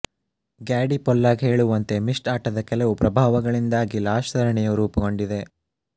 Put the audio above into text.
Gaddy Pollock ಹೇಳುವಂತೆ Myst ಆಟದ ಕೆಲವು ಪ್ರಭಾವಗಳಿಂದಾಗಿ ಲಾಸ್ಟ್ ಸರಣಿಯು ರೂಪುಗೊಂಡಿದೆ